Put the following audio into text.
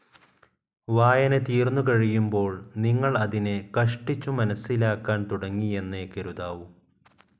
വായന തീർന്നുകഴിയുമ്പോൾ, നിങ്ങൾ അതിനെ കഷ്ടിച്ചു മനസ്സിലാക്കാൻ തുടങ്ങിയെന്നേ കരുതാവൂ.